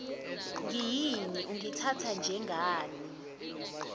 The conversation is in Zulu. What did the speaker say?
ngiyini ungithatha njengani